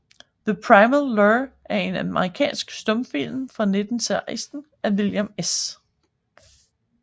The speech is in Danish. The Primal Lure er en amerikansk stumfilm fra 1916 af William S